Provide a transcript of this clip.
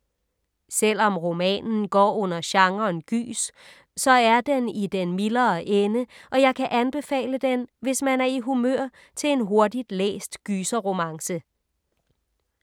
Selvom romanen går under genren gys, så er den i den mildere ende, og jeg kan anbefale den, hvis man er i humør til en hurtigt læst gyserromance.